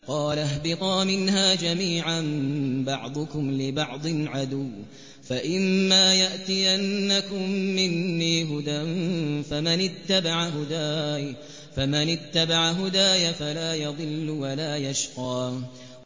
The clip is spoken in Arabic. قَالَ اهْبِطَا مِنْهَا جَمِيعًا ۖ بَعْضُكُمْ لِبَعْضٍ عَدُوٌّ ۖ فَإِمَّا يَأْتِيَنَّكُم مِّنِّي هُدًى فَمَنِ اتَّبَعَ هُدَايَ فَلَا يَضِلُّ وَلَا يَشْقَىٰ